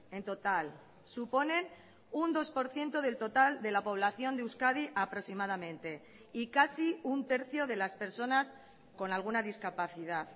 en total suponen un dos por ciento del total de la población de euskadi aproximadamente y casi un tercio de las personas con alguna discapacidad